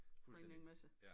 Fundstændig